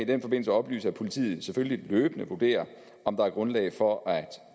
den forbindelse oplyse at politiet selvfølgelig løbende vurderer om der er grundlag for at